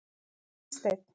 Gunnsteinn